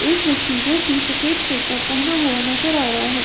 एक व्यक्ति जो कि सफेद कुर्ता पहना हुआ नजर आ रहा है।